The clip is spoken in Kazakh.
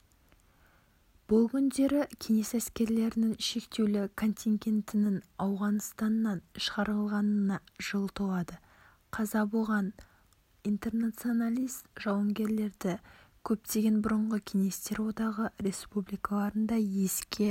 бұл күндері кеңес әскерлерінің шектеулі контингентінің ауғаныстаннан шығарылғанына жыл толады қаза болған интернационалист-жауынгерлерді көптеген бұрынғы кеңестер одағы республикаларында еске